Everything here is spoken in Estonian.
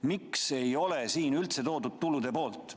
Miks ei ole siin üldse esitatud tulude poolt?